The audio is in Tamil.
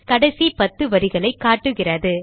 கடைசி பத்து வரிகளை காட்டுகிறது